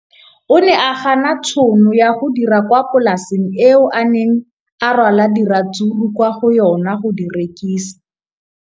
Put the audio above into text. O ne a gana tšhono ya go dira kwa polaseng eo a neng rwala diratsuru kwa go yona go di rekisa.